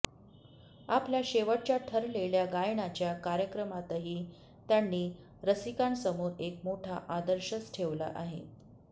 आपल्या शेवटच्या ठरलेल्या गायनाच्या कार्यक्रमातही त्यांनी रसिकांसमोर एक मोठा आदर्शच ठेवला आहे